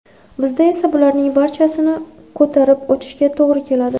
Bizda esa bularning barchasini ko‘tarib o‘tishga to‘g‘ri keladi.